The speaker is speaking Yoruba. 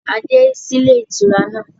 A dé sí ilé ìtura náà